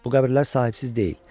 Bu qəbirlər sahibsiz deyil.